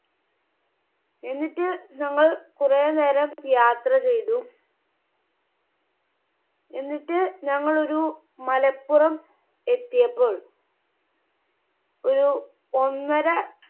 എന്നിട്ട് ഞങ്ങൾ കുറെ നേരം യാത്ര ചെയ്തു. എന്നിട്ട് ഞങ്ങൾ ഒരു മലപ്പുറം എത്തിയപ്പോൾ ഒരു ഒന്നര